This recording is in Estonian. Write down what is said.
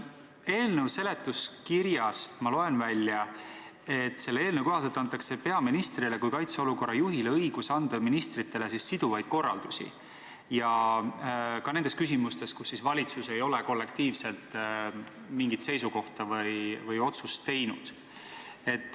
Eelnõu seletuskirjast ma loen välja, et peaministrile kui kaitseolukorra juhile antakse õigus anda ministritele siduvaid korraldusi, ka nendes küsimustes, kus valitsus ei ole kollektiivselt mingit seisukohta võtnud või otsust teinud.